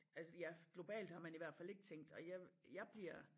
Altså ja globalt har man i hvert fald ikke tænkt og jeg jeg bliver